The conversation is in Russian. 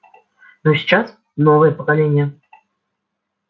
но сейчас новое поколение